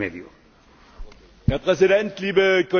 Herr Präsident, liebe Kolleginnen und Kollegen!